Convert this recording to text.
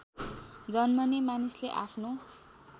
जन्मने मानिसले आफ्नो